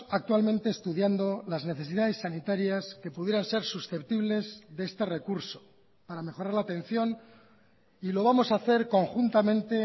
actualmente estudiando las necesidades sanitarias que pudieran ser susceptibles de este recurso para mejorar la atención y lo vamos a hacer conjuntamente